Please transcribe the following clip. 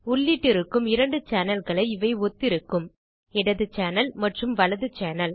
உள்ளிட்டிருக்கும் 2 channel களை இவை ஒத்திருக்கும் இடது சேனல் மற்றும் வலது சேனல்